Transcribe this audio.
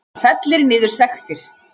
Fellir niður sektir